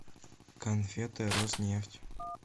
конфеты роснефть